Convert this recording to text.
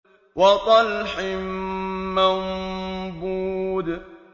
وَطَلْحٍ مَّنضُودٍ